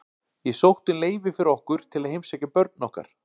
Ég sótti um leyfi fyrir okkur til að heimsækja börn okkar.